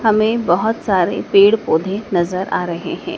हमें बहोत सारे पेड़ पौधे नजर आ रहे हैं।